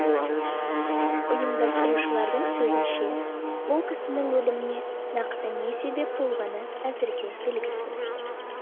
ұйымдастырушылардың сөзінше ол кісінің өліміне нақты не себеп болғаны әзірге белгісіз